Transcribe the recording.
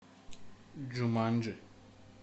джуманджи